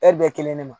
Ɛri bɛɛ kelen de ma